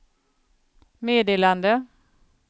meddelande